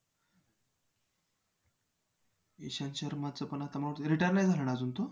beauty वरती जर बोलायला गेलंना खूप म्हणजे खूप result आहेत. केसांच्या बाबतीत आहेत.